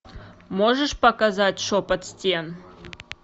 можешь показать шепот стен